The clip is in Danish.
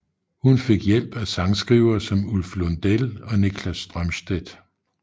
Hun fik hjælp af sangskrivere som Ulf Lundell og Niklas Strömstedt